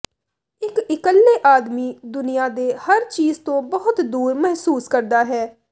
ਇੱਕ ਇਕੱਲੇ ਆਦਮੀ ਦੁਨੀਆ ਦੇ ਹਰ ਚੀਜ਼ ਤੋਂ ਬਹੁਤ ਦੂਰ ਮਹਿਸੂਸ ਕਰਦਾ ਹੈ